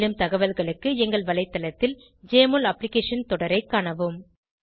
மேலும் தகவல்களுக்கு எங்கள் வலைத்தளத்தில் ஜெஎம்ஒஎல் அப்ளிகேஷன் தொடரை காணவும்